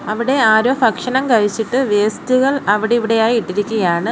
അവിടെ ആരോ ഭക്ഷണം കഴിച്ചിട്ട് വേസ്റ്റുകൾ അവിടിവിടെയായി ഇട്ടിരിക്കുകയാണ്.